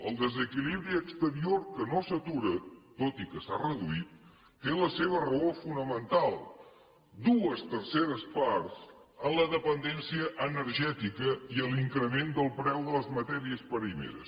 el desequilibri exterior que no s’atura tot i que s’ha reduït té la seva raó fonamental dues terceres parts en la dependència energètica i en l’increment del preu de les matèries primeres